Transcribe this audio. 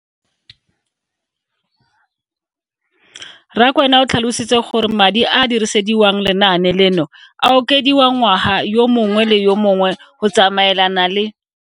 Rakwena o tlhalositse gore madi a a dirisediwang lenaane leno a okediwa ngwaga yo mongwe le yo mongwe go tsamaelana le.